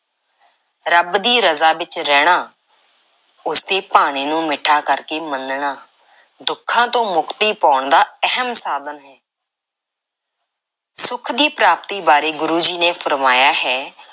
ਰੱਬ ਦੀ ਰਜ਼ਾ ਵਿੱਚ ਰਹਿਣਾ, ਉਸ ਦੇ ਭਾਣੇ ਨੂੰ ਮਿੱਠਾ ਕਰਕੇ ਮੰਨਣਾ, ਦੁੱਖਾਂ ਤੋਂ ਮੁਕਤੀ ਪਾਉਣ ਦਾ ਅਹਿਮ ਸਾਧਨ ਹੈ। ਸੁੱਖ ਦੀ ਪ੍ਰਾਪਤੀ ਬਾਰੇ ਗੁਰੂ ਜੀ ਨੇ ਫ਼ਰਮਾਇਆ ਹੈ